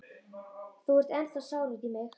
Þú ert ennþá sár út í mig.